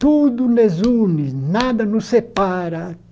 Tudo nos une, nada nos separa.